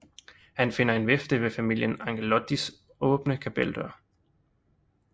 Han finder en vifte ved familien Angelottis åbne kapeldør